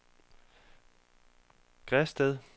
Græsted